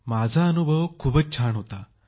माझा अनुभव मस्त होता फारच छान होता